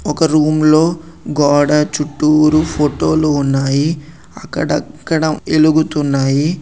ఒక రూమ్ లో గోడ చుట్టూరు ఫోటో లు ఉన్నాయి. అక్కడక్కడ వెలుగుతున్నాయి.